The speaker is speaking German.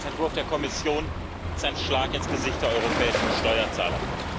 Der Haushaltsentwurf der Kommission ist ein Schlag ins Gesicht der europäischen Steuerzahler.